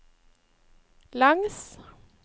langs